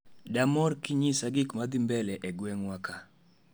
Damor kinyisa gikmadhii mbele egweng'wa kaa